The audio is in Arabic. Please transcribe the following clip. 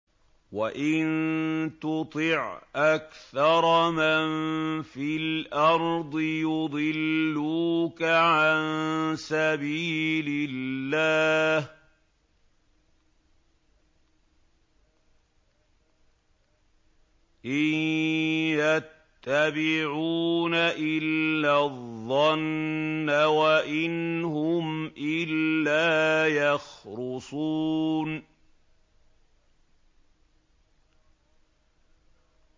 وَإِن تُطِعْ أَكْثَرَ مَن فِي الْأَرْضِ يُضِلُّوكَ عَن سَبِيلِ اللَّهِ ۚ إِن يَتَّبِعُونَ إِلَّا الظَّنَّ وَإِنْ هُمْ إِلَّا يَخْرُصُونَ